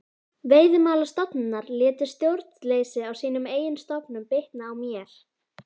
Veiðimálastofnunar létu stjórnleysi í sínum eigin stofnunum bitna á mér.